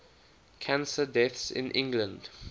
cancer deaths in england